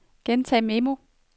optag memo